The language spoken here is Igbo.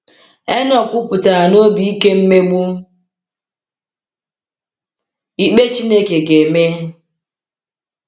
Enọk kwupụtara na obi ike mmegbu ikpe Chineke ga-eme.